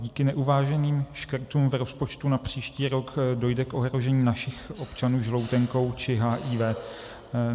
Díky neuváženým škrtům v rozpočtu na příští rok dojde k ohrožení našich občanů žloutenkou či HIV.